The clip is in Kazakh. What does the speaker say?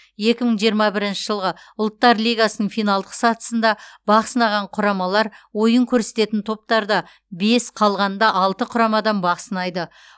екі мың жиырма бірінші жылғы ұлттар лигасының финалдық сатысында бақ сынаған құрамалар ойын көрсететін топтарда бес қалғанында алты құрамадан бақ сынайды